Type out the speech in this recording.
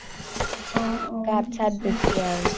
গাত চাত বেছি আৰু